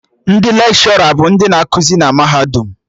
Ndị Lekshọra bụ ndị na ekuzi na mahadum